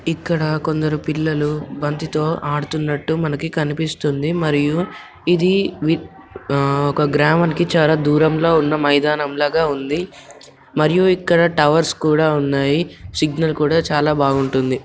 ఇక్కడ కొందరు పిల్లలు బంతితో ఆడుతున్నట్టు మనకు కనిపిస్తుంది మరియు ఇది ఆ ఒక గ్రామంనికి చాలా ధూరం లో ఉన్న మైదానం లాగా ఉంది మరియు ఇక్కడ టవర్స్ కూడా ఉన్నాయి సిగ్నల్ కూడా చాలా బాగుంటుంది.